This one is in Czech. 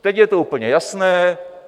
Teď je to úplně jasné.